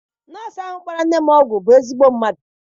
Nọọsụ ahụ gbara nne m ọgwụ bụ ezigbo mmadụ.